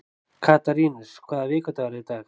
Katarínus, hvaða vikudagur er í dag?